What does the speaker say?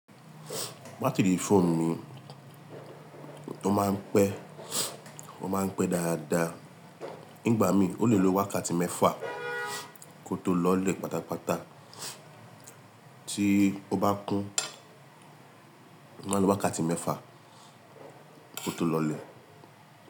Batiri óònù mi ó máa ń pẹ́, ó máa ń pẹ́ dáadáa. Nígbà mìí, ó lè lo wákàtí mẹ́fà kí ó tó lọlẹ̀ pátápátá. Tí o bá kún, ó máa ń lo wákàtí mẹ́fà kó tó lọlẹ̀.